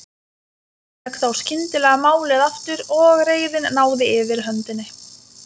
Amma fékk þá skyndilega málið aftur og reiðin náði yfirhöndinni.